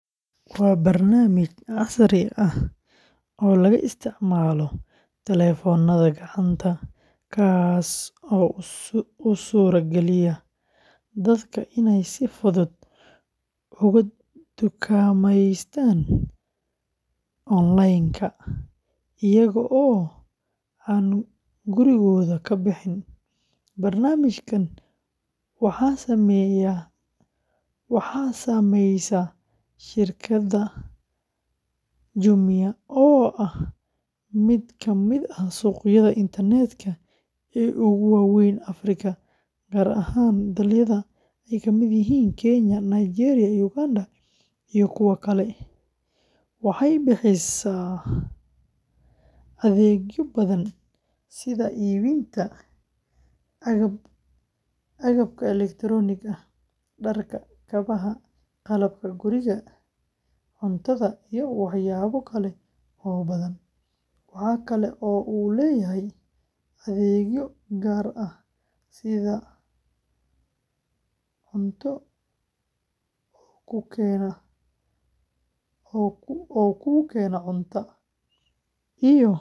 Jumia App waa barnaamij casri ah oo laga isticmaalo taleefannada gacanta, kaas oo u suura gelinaya dadka inay si fudud uga dukaameystaan onlin-ka ah iyaga oo aan gurigooda ka bixin. Barnaamijkan waxaa sameysay shirkadda, oo ah mid kamid ah suuqyada internet-ka ee ugu waa weyn Afrika, gaar ahaan dalal ay ka mid yihiin Kenya, Nigeria, Uganda iyo kuwo kale, waxay bixisaa adeegyo badan sida iibinta agabka elektaroonigga ah, dharka, kabaha, qalabka guriga, cuntada, iyo waxyaabo kale oo badan. Waxa kale oo uu leeyahay adeegyo gaar ah sida oo kuu keena cunto, iyo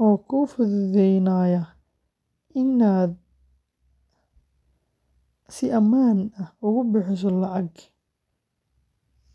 oo kuu fududeynaya inaad si ammaan ah ugu bixiso laca.